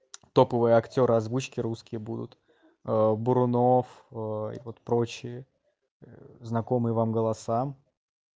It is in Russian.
топовые актёры озвучки русские будут бурунов и вот прочие знакомые вам голосам